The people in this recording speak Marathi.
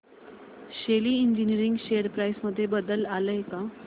शेली इंजीनियरिंग शेअर प्राइस मध्ये बदल आलाय का